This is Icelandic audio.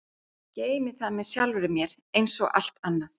Geymi það með sjálfri mér einsog allt annað.